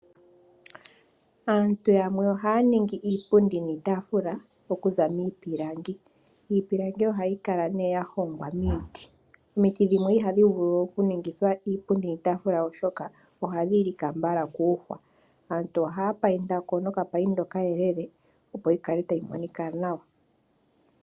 Aantu yamwe ohaya ningi iipundi niitafula okuza miipilangi . Iipilangi ohayi kala nee ya hongwa miiti . Omiti dhimwe ihadhi vulu okuningithwa iipundi niitafula oshoka ohadhi lika mbala koohwa . Aantu ohaya payinda nokapainda okayelele opo yikale tayi monika nawa .